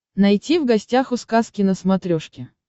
найти в гостях у сказки на смотрешке